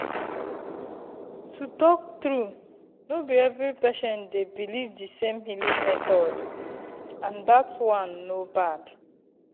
to talk true no be every patient dey belief the same healing method and that one no bad.